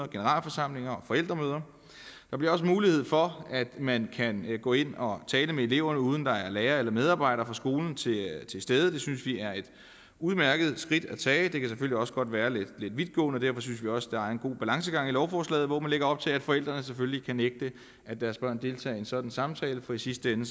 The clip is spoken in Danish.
generalforsamlinger og forældremøder der bliver også mulighed for at man kan gå ind og tale med eleverne uden at der er lærere eller medarbejdere på skolen til stede det synes vi er et udmærket skridt at tage det kan selvfølgelig også godt være lidt vidtgående og derfor synes vi også der er en god balancegang i lovforslaget hvor man lægger op til at forældrene selvfølgelig kan nægte at deres børn deltager i en sådan samtale for i sidste ende